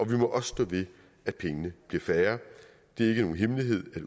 vi må også stå ved at pengene bliver færre det er ikke nogen hemmelighed at